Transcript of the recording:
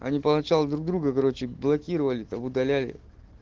они поначалу друг друга короче блокировали там удаляли